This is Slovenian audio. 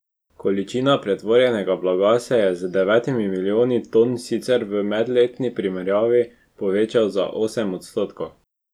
Količina pretovorjenega blaga se je z devetimi milijoni ton sicer v medletni primerjavi povečala za osem odstotkov.